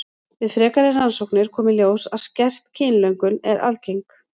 Við frekari rannsóknir kom í ljós að skert kynlöngun er algeng.